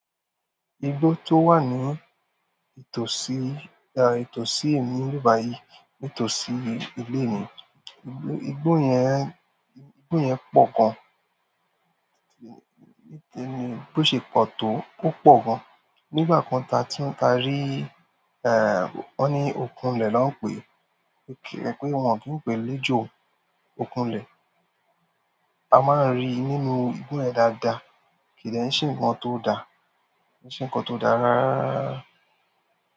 Igbo tó wà ní ìtòsí, à, ìtòsí mi ni ibibayì, ìtòsí ilé mì, igbó yẹn, igbó yẹn pọ̀ gan. Ní tẹ́ẹ́ ni bó ṣe pọ̀ tó ó pọ̀ gan. Nígbà kan tá tí n ta rí, èèè ó ní okùn ilẹ̀ ló ń pè é. Ki pé wọn kì í pè é lejo ọ̀ku ilẹ̀. A máa ń rí í nínú ìgbo yẹn dáadáa. Kìde n ṣe nǹkan tó da. Ki se nǹkan tó da rára.